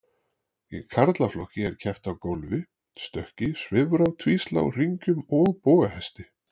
Í karlaflokki er keppt á gólfi, stökki, svifrá, tvíslá, hringjum og bogahesti.